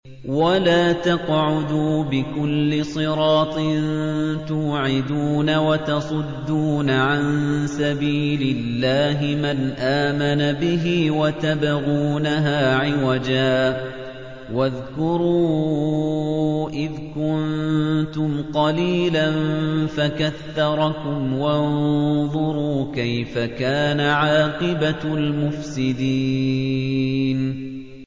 وَلَا تَقْعُدُوا بِكُلِّ صِرَاطٍ تُوعِدُونَ وَتَصُدُّونَ عَن سَبِيلِ اللَّهِ مَنْ آمَنَ بِهِ وَتَبْغُونَهَا عِوَجًا ۚ وَاذْكُرُوا إِذْ كُنتُمْ قَلِيلًا فَكَثَّرَكُمْ ۖ وَانظُرُوا كَيْفَ كَانَ عَاقِبَةُ الْمُفْسِدِينَ